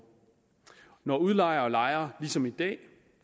når udlejere og lejere ligesom i dag